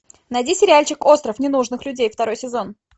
найди сериальчик остров ненужных людей второй сезон